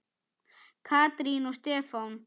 Katrín og Stefán.